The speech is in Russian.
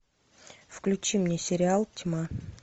включи мне сериал тьма